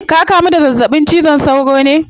Ka kamu da zazzabin cizon sauro ne?